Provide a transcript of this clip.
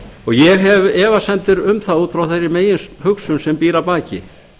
ég hef efasemdir um það út frá þeirri meginhugsun sem býr að baki